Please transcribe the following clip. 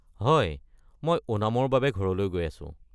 হয়, মই ওনামৰ বাবে ঘৰলৈ গৈ আছো।